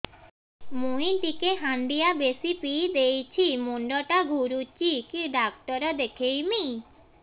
ମୁଇ ଟିକେ ହାଣ୍ଡିଆ ବେଶି ପିଇ ଦେଇଛି ମୁଣ୍ଡ ଟା ଘୁରୁଚି କି ଡାକ୍ତର ଦେଖେଇମି